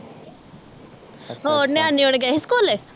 ਹੋਰ ਨਿਆਨੇ ਹੁਣੀ ਗਏ ਸੀ ਸਕੂਲੇ